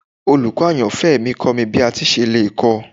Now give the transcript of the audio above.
Olukọni ayanfẹ mi kọ mi bi a ṣe le kọ